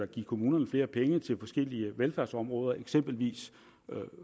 give kommunerne flere penge til forskellige velfærdsområder eksempelvis